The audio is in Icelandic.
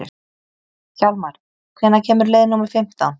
Hjálmar, hvenær kemur leið númer fimmtán?